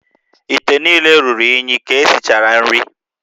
íté niile ruru unyi ka esichara nri